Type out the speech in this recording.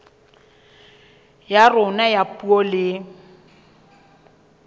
ya rona ya puo le